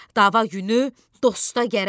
Dava günü dosta gərək.